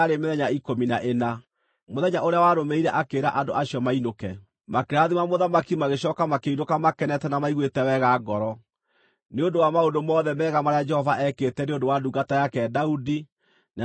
Mũthenya ũrĩa warũmĩrĩire akĩĩra andũ acio mainũke. Makĩrathima mũthamaki magĩcooka makĩinũka makenete na maiguĩte wega ngoro, nĩ ũndũ wa maũndũ mothe mega marĩa Jehova ekĩte nĩ ũndũ wa ndungata yake Daudi na nĩ ũndũ wa andũ ake a Isiraeli.